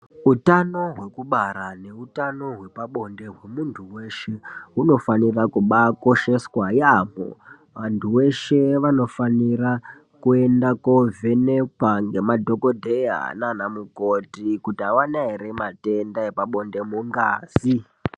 Utano hwekubara neutano hwe pabonde hwemunhu weshe hunofanira kubaakosheswa yaamho. Antu eshe anofanira kuenda kovhenekwa nema dhokodheya naana mukoti kuti havana here matenda epabonde mungazi.